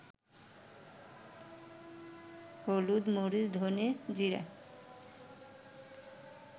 হলুদ, মরিচ, ধনে জিরা